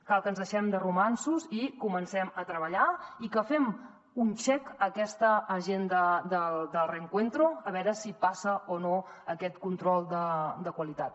cal que ens deixem de romanços i comencem a treballar i que fem un check a aquesta agenda del reencuentro a veure si passa o no aquest control de qualitat